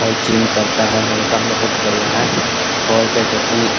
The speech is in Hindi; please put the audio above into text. और जिम करता है लड़का बोहोत बढ़िया है और क्या कहते हैं --